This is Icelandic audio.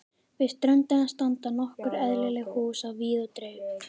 Við ströndina standa nokkur eyðileg hús á víð og dreif.